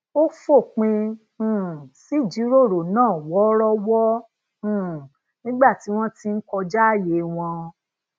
ó fòpin um sí ìjíròrò náà woorowo um nígbà tí won ti n kojaaye won